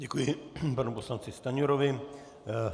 Děkuji panu poslanci Stanjurovi.